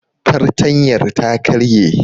Fartanyar ta karye